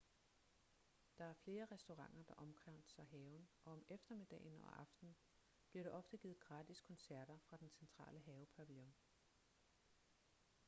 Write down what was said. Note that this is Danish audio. der er flere restauranter der omkranser haven og om eftermiddagen og aftenen bliver der ofte givet gratis koncerter fra den centrale havepavillion